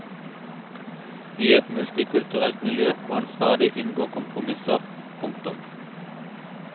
I et multikulturelt miljø må en stadig inngå kompromisser. punktum